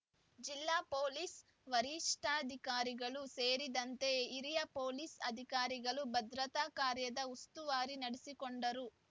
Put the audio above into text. ಜಿಲ್ಲಾ ಪೊಲೀಸ್ ವರಿಷ್ಠಾಧಿಕಾರಿಗಳು ಸೇರಿದಂತೆ ಹಿರಿಯ ಪೊಲೀಸ್ ಅಧಿಕಾರಿಗಳು ಭದ್ರತಾ ಕಾರ್ಯದ ಉಸ್ತುವಾರಿ ನಡಿಸಿ ಕೊಂಡರು